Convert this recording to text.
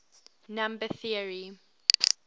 number theory